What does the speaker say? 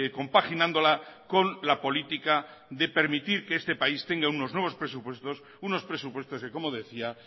compaginándola con la política de permitir que este país tenga unos nuevos presupuestos unos presupuestos que como decía